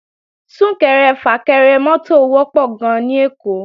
Sún-kẹrẹ-fà-kẹrẹ mọ́tò wọ́pọ̀ gan-an ní Èkó